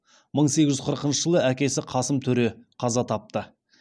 мың сегіз жүз қырықыншы жылы әкесі қасым төре қаза тапты